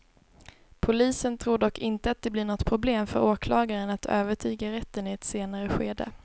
Polisen tror dock inte att det blir något problem för åklagaren att övertyga rätten i ett senare skede.